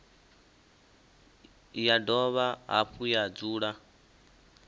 ya dovha hafhu ya dzula